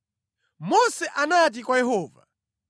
Mose anati kwa Yehova,